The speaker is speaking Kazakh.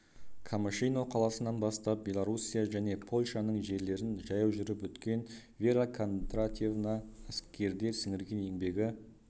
камышино қаласынан бастап белоруссия және польшаның жерлерін жаяу жүріп өткен вера кондратьевна әскерде сіңірген еңбегі